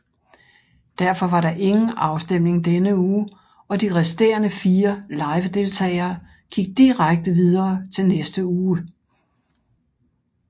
Derfor var der ingen afstemning denne uge og de resterende 4 livedeltagere gik direkte videre til næste uge